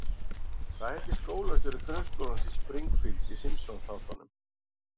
Hvað heitir skólastjóri grunnskólans í Springfield í Simpsons-þáttunum?